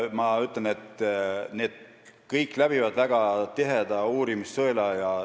Kõik pritsimisained läbivad väga tiheda uurimissõela.